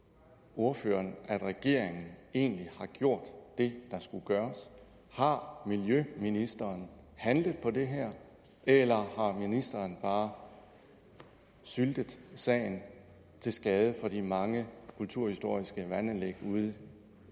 ordføreren at regeringen egentlig har gjort det der skulle gøres har miljøministeren handlet på det her eller har ministeren bare syltet sagen til skade for de mange kulturhistoriske vandanlæg ude